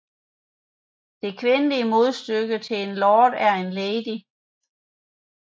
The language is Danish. Det kvindelige modstykke til en lord er en lady